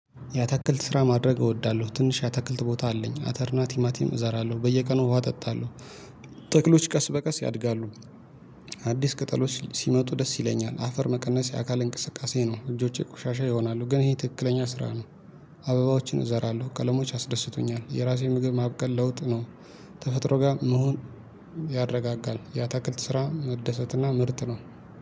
ያትክልት ስራ ማድረግ እወዳለሁ ትንሽ ያትክልት ቦታ አለኝ አተር እና ቲማቲም እዛራለሁ በየቀኑ ውሃ አጠጣለሁ። ተክሎች ቀስ በቀስ ያድጋሉ። አዲስ ቅጠሎች ሲመጡ ደስ ይለኛል አፈር መቀነስ የአካል እንቅስቃሴ ነው። እጆቼ ቆሻሻ ይሆናሉ ግን ይሄ ትክክለኛ ስራ ነው። አበባዎችን እዘራለሁ ቀለሞች ያስደስቱኛል የራሴን ምግብ ማብቀል ለውጥ ነው። ተፈጥሮ ጋር መሆን ያረጋጋል። ያትክልት ስራ መደሰት እና ምርት ነው